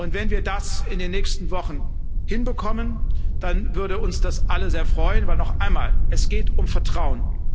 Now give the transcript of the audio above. Wenn wir das in den nächsten Wochen hinbekommen, dann würde uns das alle sehr freuen, weil noch einmal Es geht um Vertrauen.